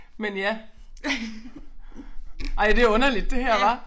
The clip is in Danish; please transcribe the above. Men ja ej det underligt det her hva